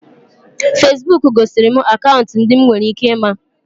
Feesbuk gosiri m akaụntụ ndị m nwere ike ịma